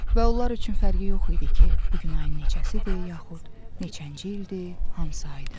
Və onlar üçün fərqi yox idi ki, bu gün ayın neçəsidir, yaxud neçənci ildir, hansı aydır.